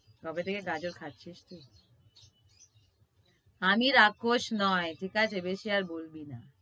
কবে থেকে গাঁজর খাচ্ছিস তুই? আমি রাক্ষস নয়, তুই তাই ভেবেছি আর বলবি না।